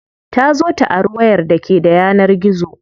Ta zo ta ari wayar da ke da yanar gizo.